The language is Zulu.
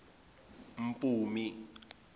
mpumi